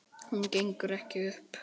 Hún gengur ekki upp.